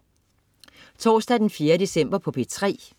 Torsdag den 4. december - P3: